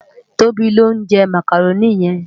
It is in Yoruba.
Tobi ló njè mákáróni yèn